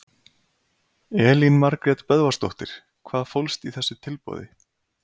Elín Margrét Böðvarsdóttir: Hvað fólst í þessu tilboði?